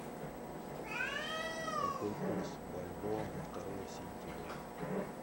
какой курс бальбоа на второе сентября